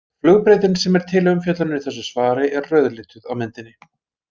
Flugbrautin sem er til umfjöllunar í þessu svari er rauðlituð á myndinni.